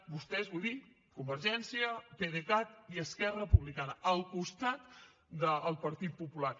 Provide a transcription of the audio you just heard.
vostès vull dir convergència pdecat i esquerra republicana al costat del partit popular